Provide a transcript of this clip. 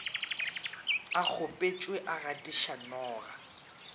a kgopetšwe a gatiša noga